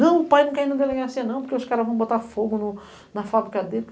Não, o pai não quer ir na delegacia não, porque os caras vão botar fogo na fábrica dele.